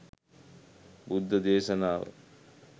බුද්ධ දේශනාව